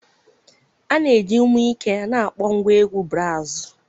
A na-eji ume ike na-akpọ ngwa egwu braazụ